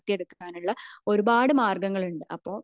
വളർത്തിയെടുക്കാൻ ഉള്ള ഒരുപാട് മാര്ഗങ്ങള് ഉണ്ട്